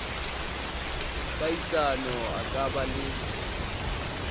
kahisano a ka ba le